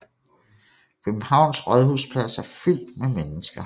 Københavns rådhusplads er fyldt med mennesker